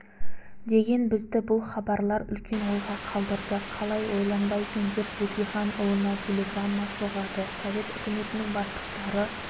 деген бізді бұл хабарлар үлкен ойға қалдырды қалай ойланбайсың деп бөкейханұлына телеграмма соғады совет үкіметінің бастықтары